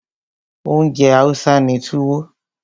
Oúnjẹ Hausa ni Tuwo.